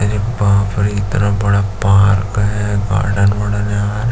अरे बाप रे इतना बड़ा पार्क है गार्डन वार्डन है।